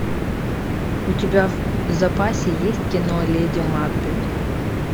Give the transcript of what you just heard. у тебя в запасе есть кино леди макбет